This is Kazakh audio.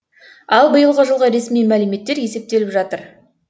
ал биылғы жылғы ресми мәліметтер есептеліп жатыр